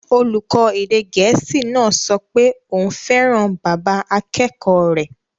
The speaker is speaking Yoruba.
Olùkọ́ èdè Gẹ̀ẹ́sì náà sọ pé òun fẹ́ràn bàbá akẹ́kọ̀ọ́ rẹ̀